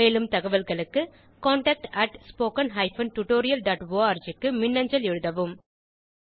மேலும் தகவல்களுக்கு contactspoken tutorialorg க்கு மின்னஞ்சல் எழுதவும்